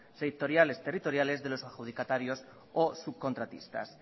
sectoriales territoriales de los adjudicatarios o subcontratistas